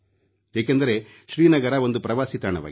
ಏಕೆಂದರೆ ಶ್ರೀನಗರ ಒಂದು ಪ್ರವಾಸಿ ತಾಣವಾಗಿದೆ